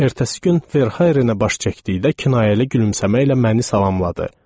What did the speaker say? Ertəsi gün Ferhairenə baş çəkdıkdə kinayəli gülümsəməklə məni salamladı.